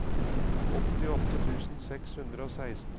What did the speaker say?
åttiåtte tusen seks hundre og seksten